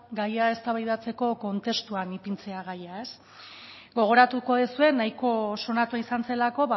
gaia eztabaidatzeko kontestuan ipintzea gaia gogoratuko duzue nahiko sonatua izan zelako